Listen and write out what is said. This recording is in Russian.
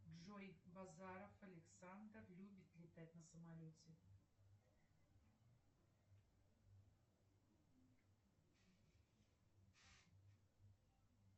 джой базаров александр любит летать на самолете